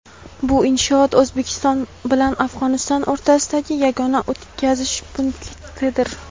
bu inshoot O‘zbekiston bilan Afg‘oniston o‘rtasidagi yagona o‘tkazish punktidir.